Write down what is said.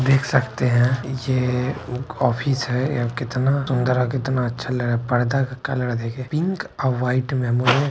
देख सकते हैं ये ऑफ़िस है कितना सुंदर और कितना सुंदर और कितना अच्छा लग रहा है| पर्दा का कलर देखें पिंक और वाइट में